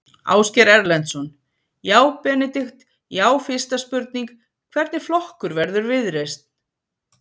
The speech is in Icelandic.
Ásgeir Erlendsson: Já Benedikt, já fyrsta spurning, hvernig flokkur verður Viðreisn?